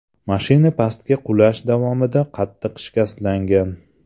Mashina pastga qulash davomida qattiq shikastlangan.